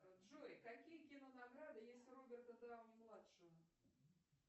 джой какие кинонаграды есть у роберта дауни младшего